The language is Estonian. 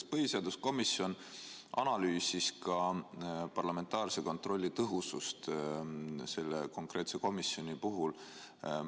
Kas põhiseaduskomisjon analüüsis ka parlamentaarse kontrolli tõhusust selle konkreetse komisjoni puhul?